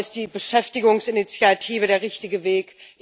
Aber ist die Beschäftigungsinitiative der richtige Weg?